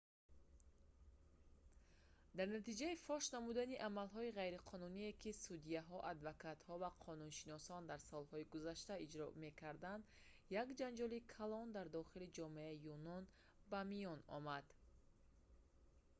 дар натиҷаи фош намудани амалҳои ғайриқонуние ки судяҳо адвокатҳо ва қонуншиносон дар солҳои гузашта иҷро мекарданд як ҷанҷоли калон дар дохили ҷомеаи юнон ба миён омад